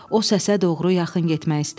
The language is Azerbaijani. O səsə doğru yaxın getmək istəmişdi.